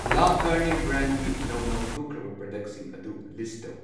ꯂꯥ ꯀꯔꯅꯦ ꯕ꯭ꯔꯥꯟꯒꯤ ꯅꯧꯅ ꯍꯧꯗꯣꯛꯈ꯭ꯔꯕ ꯄ꯭ꯔꯗꯛꯁꯤꯡ ꯑꯗꯨ ꯂꯤꯁ ꯇꯧ꯫